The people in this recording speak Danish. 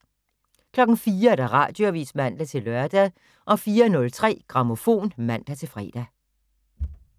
04:00: Radioavis (man-lør) 04:03: Grammofon (man-fre)